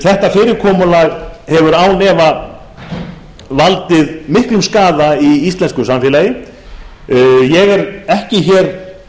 þetta fyrirkomulag hefur því án efa valdið miklum skaða í íslensku samfélagi ég er ekki hér að